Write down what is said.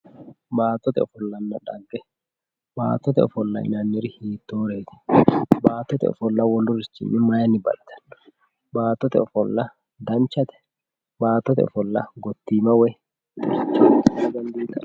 Baattote ofollanna dhagge, baattote ofollonna dhagge yinaniri hiittoreti, baattote ofolla wolurichinni mayini baxxittano, baattote ofolla danchate, baattote ofolla gotima woyi lagichame.